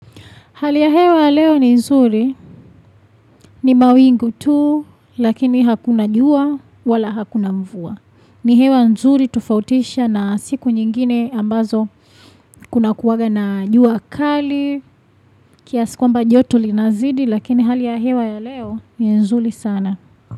Hali ya hewa ya leo ni nzuri ni mawingu tu lakini hakuna jua wala hakuna mvua. Ni hewa nzuri tofautisha na siku nyingine ambazo kuna kuwaga na jua kali. Kiasi kwamba joto linazidi lakini hali ya hewa ya leo ni nzuri sana.